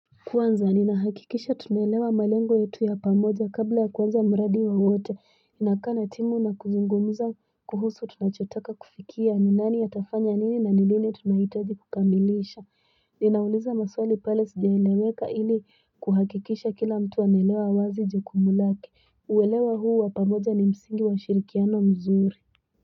Kuanza ninahakikisha tunaelewa malengo yetu ya pamoja kabla ya kuanza muradi wa wote inakana timu na kuzungumuza kuhusu tunachotaka kufikia ninani atafanya nini na ni lini tunahitaji kukamilisha Ninauliza maswali pale sijaleweka ili kuhakikisha kila mtu anelewa wazi jukumu lake uwelewa huu wa pamoja ni msingi wa ushirikiano mzuri.